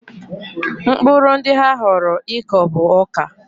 Mkpụrụ ndị ha họọrọ ịkọ bụ ọka.